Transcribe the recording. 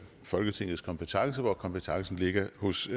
folketingets kompetence da kompetencen ligger hos